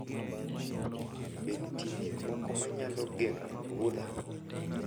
Be nitie gik moko ma nyalo geng�o wuodha